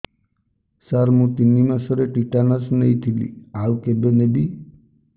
ସାର ମୁ ତିନି ମାସରେ ଟିଟାନସ ନେଇଥିଲି ଆଉ କେବେ ନେବି